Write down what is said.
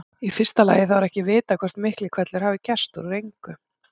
Í fyrsta lagi þá er ekki vitað hvort Miklihvellur hafi gerst út úr engu.